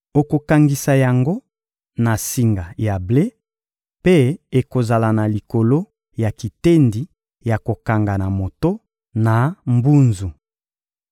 Okokangisa yango na singa ya ble, mpe ekozala na likolo ya kitendi ya kokanga na moto, na mbunzu.